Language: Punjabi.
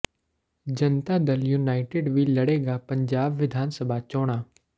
ਜਨਤਾ ਦਲ ਯੂਨਾਈਟਿਡ ਵੀ ਲੜੇਗਾ ਪੰਜਾਬ ਵਿਧਾਨ ਸਭਾ ਚੋਣਾਂ